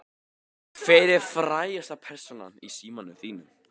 Hver er frægasta persónan í símanum þínum?